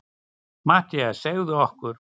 MATTHÍAS: Segðu okkur.